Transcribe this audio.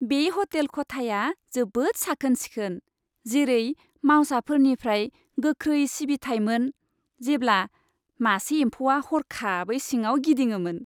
बे ह'टेल खथाया जोबोद साखोन सिखोन, जेरै मावसाफोरनिफ्राय गोख्रै सिबिथाइमोन, जेब्ला मासे एम्फौआ हरखाबै सिङाव गिदिङोमोन।